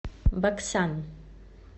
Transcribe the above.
баксан